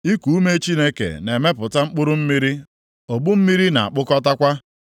Iku ume Chineke na-emepụta mkpụrụ mmiri, ogbu mmiri na-akpụkọtakwa.